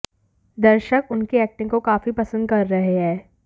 दर्शक उनकी एक्टिंग को काफी पसंद कर रहे हैं